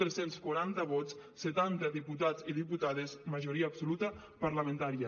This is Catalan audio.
tres cents i quaranta vots setanta diputats i diputades majoria absoluta parlamentària